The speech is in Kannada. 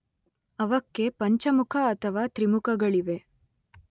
ಅವಕ್ಕೆ ಪಂಚಮುಖ ಅಥವಾ ತ್ರಿಮುಖಗಳಿವೆ.